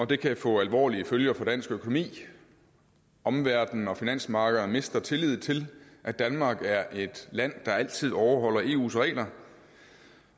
det kan få alvorlige følger for dansk økonomi omverdenen og finansmarkederne mister tillid til at danmark er et land der altid overholder eus regler